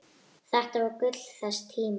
Þetta var gull þess tíma.